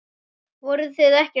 Voruð þið ekkert hrædd?